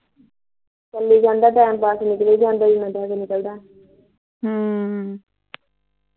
ਚਲੀ ਜਾਂਦਾ time pass ਨਿਕਲੀ ਜਾਂਦਾ ਐ ਹਮ